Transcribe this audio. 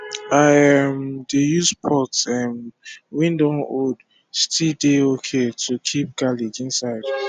i um dey use pot um wey dun old still dey okay to keep garlic inside